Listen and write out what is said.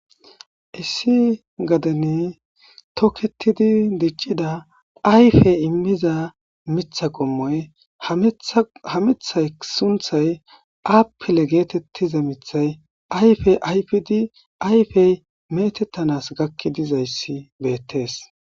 issi gadene tokketidi diccida ayfey immiza mitha qommoy hamithay sunthay aappile geetettiza mithay ayfey ayfidi ayfey metettanas gakki dizayssi beettees